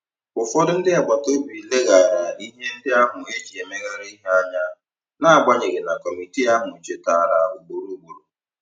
Ụfọdụ ndị agbata obi leghaara ihe ndị ahụ e ji emegharị ihe anya, n'agbanyeghị na kọmitii ahụ chetara ugboro ugboro.